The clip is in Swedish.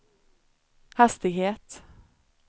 hastighet